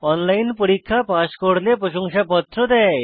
online পরীক্ষা pass করলে প্রশংসাপত্র দেয়